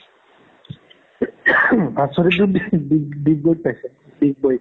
ভাস্ৱাতি তোৰ ডিগবোইত পাইছে ডিগবোইত